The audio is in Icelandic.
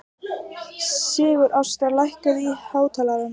Sigurásta, lækkaðu í hátalaranum.